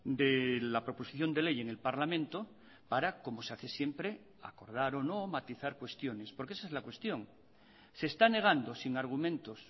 de la proposición de ley en el parlamento para como se hace siempre acordar o no matizar cuestiones porque esa es la cuestión se está negando sin argumentos